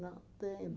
Não tenho